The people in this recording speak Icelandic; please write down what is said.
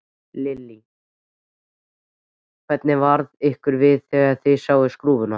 Lillý: Hvernig varð ykkur við þegar þið sáuð skrúfuna?